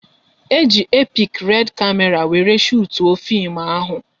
E ji epik red kamera wéré shutuo fim ahụ